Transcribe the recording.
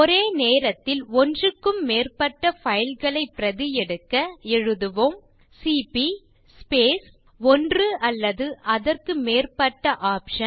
ஒரே நேரத்தில் ஒன்றுக்கும் மேற்பட்ட பைல் களை பிரதி எடுக்க எழுதுவோம் சிபி ஸ்பேஸ் ஒன்று அல்லது அதற்கு மேற்பட்ட OPTION